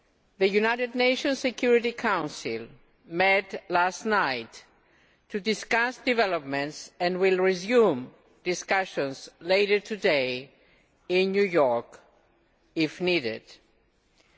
The United Nations Security Council met last night to discuss developments and will resume discussions later today in New York if need be.